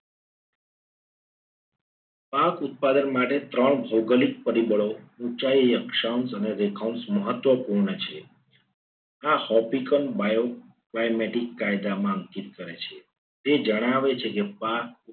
પાક ઉત્પાદન માટે ત્રણ ભૌગોલિક પરિબળો ઊંચાઈ અક્ષાંશ અને રેખાંશ મહત્વના પૂર્ણ છે. આ hopical માં આવ્યો. mio climatic કાયદામાં અંકિત કરે છે. તે જણાવે છે કે પાક